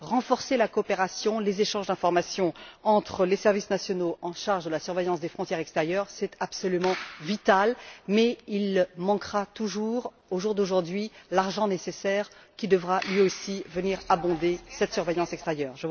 Renforcer la coopération, les échanges d'informations entre les services nationaux chargés de la surveillance des frontières extérieures, c'est absolument vital, mais il manque toujours, au jour d'aujourd'hui, l'argent nécessaire qui devra, lui aussi, venir abonder cette surveillance extérieure.